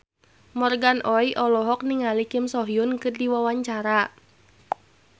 Morgan Oey olohok ningali Kim So Hyun keur diwawancara